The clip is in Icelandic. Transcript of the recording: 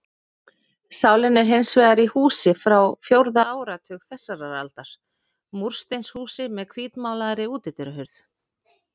Sálin er hins vegar í húsi frá fjórða áratug þessarar aldar, múrsteinshúsi með hvítmálaðri útidyrahurð.